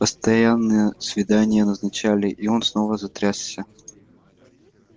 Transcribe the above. постоянное свидания назначали и он снова затрясся